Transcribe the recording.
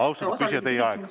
Austatud küsija, teie aeg!